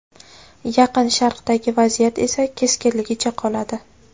Yaqin Sharqdagi vaziyat esa keskinligicha qoladi.